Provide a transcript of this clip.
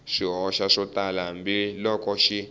swihoxo swo tala hambiloko xi